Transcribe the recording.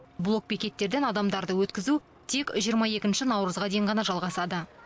блок бекеттерден адамдарды өткізу тек жиырма екінші наурызға дейін ғана жалғасады